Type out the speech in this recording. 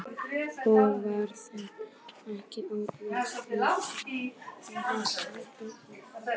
Og var Þjóðverjinn ekki ósáttur við að vera hlekkjaður í fjósi?